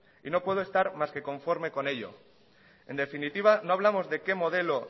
y no puedo estar más que conforme con ello en definitiva no hablamos de qué modelo